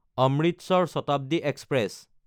Amritsar Shatabdi express